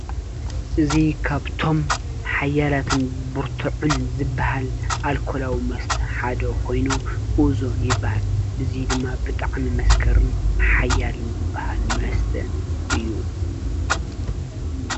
እዚ ካብቶም ሓያላትን ብርቱዕን ዝባሃል ኣልኮላዊ መስተ ሓደ ኮይኑ ኡዞ ይበሃል። እዚ ድማ ብጣዕሚ መስከርን ሓያልን ዝበሃል መስተ እዩ።